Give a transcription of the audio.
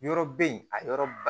Yɔrɔ bɛ yen a yɔrɔ ba